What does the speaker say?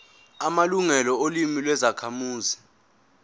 amalungelo olimi lwezakhamuzi